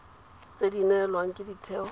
tse di neelwang ke ditheo